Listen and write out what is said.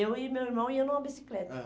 Eu e meu irmão ia numa bicicleta. Ãh.